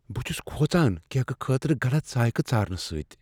بہٕ چھس کھوژان کیکہٕ خٲطرٕ غلط ذائقہ ژارنہٕ سۭتۍ۔